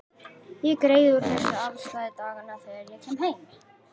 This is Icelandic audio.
Ég greiði úr þessu afstæði daganna þegar ég kem heim.